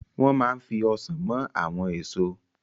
Wọ́n ma fi Ọsàn mọ àwọn èso